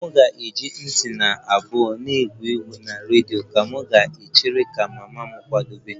M ga-ege ntị na abụ na-egwu egwu na redio ka m na-echere ka mama m kwadebe